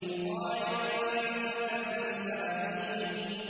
مُّطَاعٍ ثَمَّ أَمِينٍ